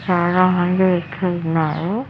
చాలామంది ఎక్కువున్నారు.